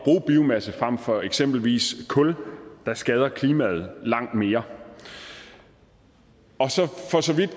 biomasse frem for eksempelvis kul der skader klimaet langt mere og så